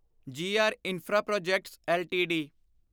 ਜੀ R infra projects LTD